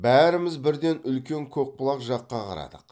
бәріміз бірден үлкен көкбұлақ жаққа қарадық